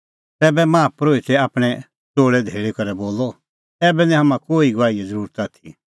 तैबै माहा परोहितै आपणैं च़ोल़अ धैल़ी करै बोलअ ऐबै निं हाम्हां कोही गवाहीए ज़रुरत आथी